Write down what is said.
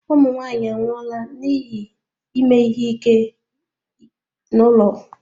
Ụmụ nwanyị anwụọla n'ihi ime ihe ike n'ụlọ.